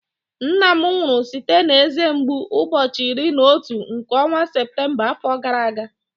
Nna m nwụrụ site na eze mgbu ụbọchị iri na otu nke ọnwa Septemba afọ gara aga